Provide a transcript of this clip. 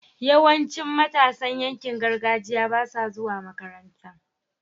yawancin matasan yankin gargajiya basa zuwa makaranta